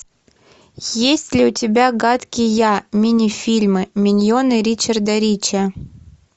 есть ли у тебя гадкий я мини фильмы миньоны ричарда рича